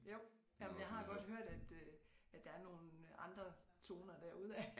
Jo jamen jeg har godt hørt at øh at der er nogen andre toner derude af